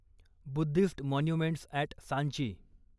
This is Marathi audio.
Buddhist monuments at Sanchi